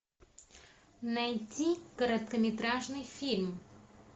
найти короткометражный фильм